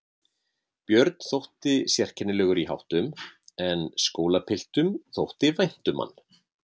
Björn þótti sérkennilegur í háttum en skólapiltum þótti vænt um hann.